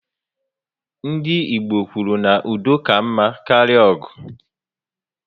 Ndị Igbo kwuru na "udo ka mma karịa ọgụ"